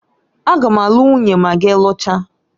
A ga m alu nwunye ma gi luchaa